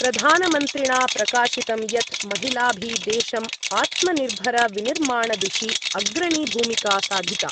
प्रधानमन्त्रिणा प्रकाशितं यत् महिलाभि देशम् आत्मनिर्भरविनिर्माणदिशि अग्रणी भूमिका साधिता।